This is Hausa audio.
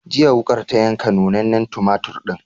Jiya, wuƙar ta yanka nunnanen tumatur ɗin.